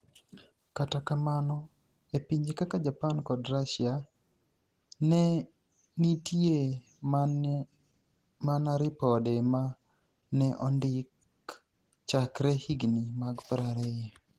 Kata kamano, e pinije kaka Japani kod Russia, ni e niitie mania ripode ma ni e onidik chakre higinii mag 20.